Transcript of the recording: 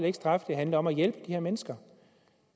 ikke straffe det handler om at hjælpe de her mennesker